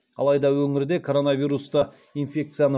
алайда өңірде коронавирусты инфекцияны